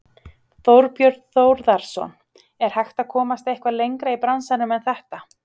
Þorbjörn Þórðarson: Er hægt að komast eitthvað lengra í bransanum en þetta?